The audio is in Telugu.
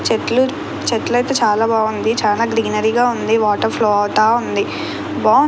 చెట్లు చెట్లు అయితే చాలా బాగుంది. చాలా గ్రీనరీ గా ఉంది. వాటర్ ఫ్లో అవుతా ఉంది. బాగుం--